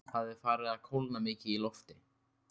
Það er farið að kólna mikið í lofti.